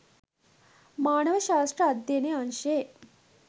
මානව ශාස්ත්‍ර අධ්‍යයන අංශයේ